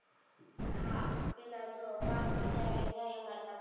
હા પેલા જો કામ કરીયાવીએ ને ન્યા ય અમારે પાછું